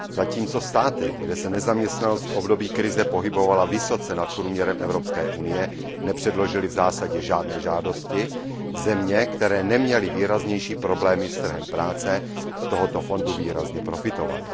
Zatímco státy, kde se nezaměstnanost v období krize pohybovala vysoce nad průměrem Evropské unie, nepředložily v zásadě žádné žádosti, země, které neměly výraznější problémy s trhem práce, z tohoto fondu výrazně profitovaly.